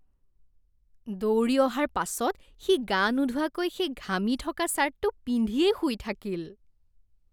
দৌৰি অহাৰ পাছত সি গা নোধোৱাকৈ সেই ঘামি থকা ছাৰ্টটো পিন্ধিয়েই শুই থাকিল।